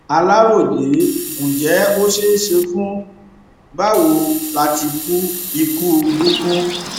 aláròye ǹjẹ ó ṣeé ṣe fún báwo láti kú ikú gúngun